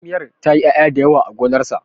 tsamiyar ta yi ya'ya da yawa a gonarsa